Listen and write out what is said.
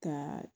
Ka